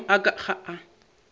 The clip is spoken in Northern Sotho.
maemo a ka ga a